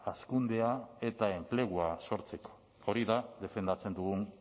hazkundea eta enplegua sortzeko hori da defendatzen dugun